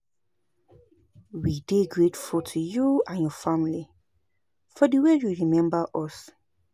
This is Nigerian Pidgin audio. We dey grateful to you and your family for the way you remember us